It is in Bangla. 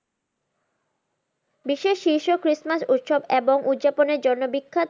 বিশেষ শীর্ষ christmas উৎসব এবং উদযাপনের জন্য বিখ্যাত